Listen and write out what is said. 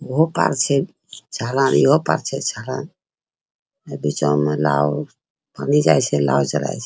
उहो पार छे ईहो पार छे इ बिछवा में नाओ अभी जाइ छै नाओ चली छै |